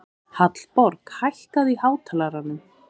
Hallborg, hækkaðu í hátalaranum.